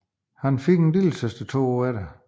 Han fik en lillesøster to år efter